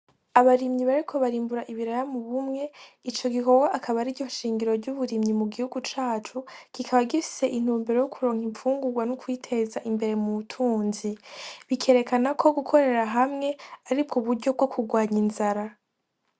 Abarimyi bariko barimbura ibiraya mu bumwe ico gikorwa akaba ariryo nshingiro ry'uburimyi mu gihugu cacu kikaba gifise intumbero yo kuronka imfungugwa n'ukwiteza imbere mu butunzi bikerekanako gukorera hamwe aribgo buryo bgokugwanya inzara.